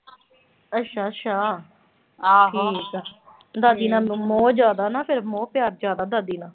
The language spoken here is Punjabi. ਅੱਛ-ਅੱਛਾ ਠੀਕ ਆ। ਦਾਦੀ ਨਾਲ ਮੋਹ ਜ਼ਿਆਦਾ ਨਾ ਫਿਰ। ਮੋਰ-ਪਿਆਰ ਜ਼ਿਆਦਾ ਦਾਦੀ ਨਾਲ।